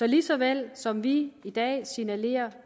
lige så vel som vi i dag signalerer